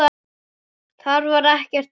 Þar var ekkert hik.